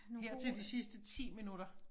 Her til de sidste 10 minutter